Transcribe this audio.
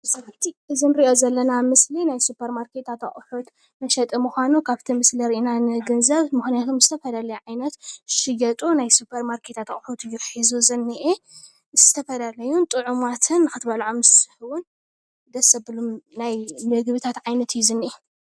እዚ ንሪኦ ዘለና ምስሊ ናይ ሱፐር ማርኬታት ኣቑሑት ተሸጠ ምዃኑ ካብቲ ምስሊ ርኢና ንግንዘብ፡፡ ምኽንያቱ ዓይነት ዝሽየጡ ናይ ሱፐር ማርኬታት ኣቑሑት እዩ ሒዙ ዝኒአ፡፡ ዝተፈላለዩ ጥዑማትን ንኽትበልዖም ዝስሕቡን ደስ ዘብሉን ናይ ምግብታት ዓይነት እዩ ዝኒአ፡፡